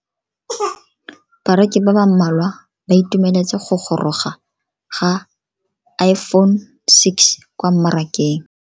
Bareki ba ba malwa ba ituemeletse go goroga ga Iphone6 kwa mmarakeng.